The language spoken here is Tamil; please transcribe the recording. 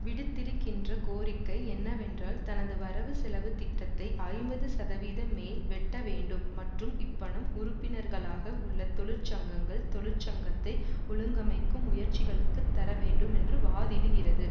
விடுத்திருக்கின்ற கோரிக்கை என்னவென்றால் தனது வரவுசெலவுத்திட்டத்தை ஐம்பது சதவீத மேல் வெட்ட வேண்டும் மற்றும் இப்பணம் உறுப்பினர்களாக உள்ள தொழிற்சங்கங்கள் தொழிற்சங்கத்தை ஒழுங்கமைக்கும் முயற்சிகளுக்கு தர வேண்டும் என்று வாதிடுகிறது